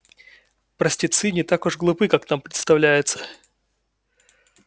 простецы не так уж глупы как нам представляется